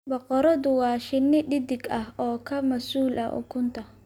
Boqoradu waa shinni dheddig ah oo ka masuul ah ukunta.